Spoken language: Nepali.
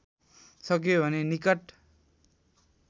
सक्यो भने निकट